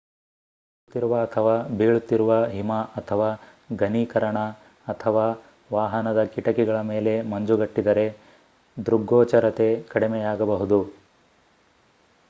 ಬೀಸುತ್ತಿರುವ ಅಥವಾ ಬೀಳುತ್ತಿರುವ ಹಿಮ ಅಥವಾ ಘನೀಕರಣ ಅಥವಾ ವಾಹನದ ಕಿಟಕಿಗಳ ಮೇಲೆ ಮಂಜುಗಟ್ಟಿದರೆ ದೃಗ್ಗೋಚರತೆ ಕಡಿಮೆಯಾಗಬಹುದು